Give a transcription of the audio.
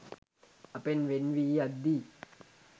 අපෙන් වෙන් වී යද්දී